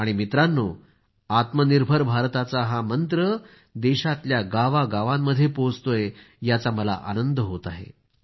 आणि मित्रांनो आत्मनिर्भर भारताचा हा मंत्र देशातल्या गावांगावांमध्ये पोहोचतोय याचा मला आनंद होत आहे